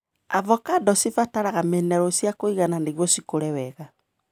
Ovacando cibataraga minerũ ciakũigana nĩgio cikũre.